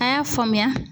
A y'a faamuya